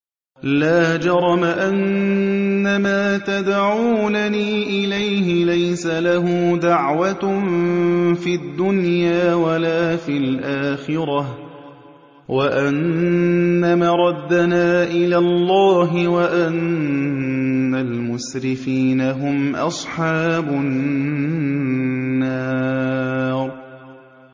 لَا جَرَمَ أَنَّمَا تَدْعُونَنِي إِلَيْهِ لَيْسَ لَهُ دَعْوَةٌ فِي الدُّنْيَا وَلَا فِي الْآخِرَةِ وَأَنَّ مَرَدَّنَا إِلَى اللَّهِ وَأَنَّ الْمُسْرِفِينَ هُمْ أَصْحَابُ النَّارِ